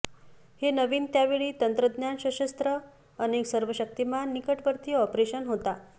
हे नवीन त्या वेळी तंत्रज्ञान सशस्त्र अनेक सर्वशक्तिमान निकटवर्ती ऑपरेशन होता